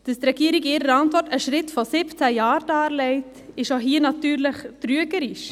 Dass die Regierung in ihrer Antwort einen Schritt von 17 Jahren darlegt, ist hier natürlich trügerisch.